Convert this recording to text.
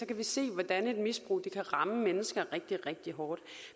kan vi se hvordan et misbrug kan ramme mennesker rigtig rigtig hårdt